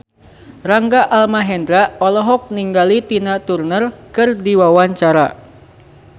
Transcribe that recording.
Rangga Almahendra olohok ningali Tina Turner keur diwawancara